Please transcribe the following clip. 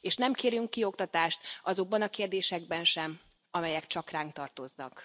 és nem kérünk kioktatást azokban a kérdésekben sem, amelyek csak ránk tartoznak.